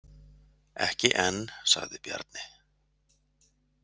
Ekki enn, sagði Bjarni.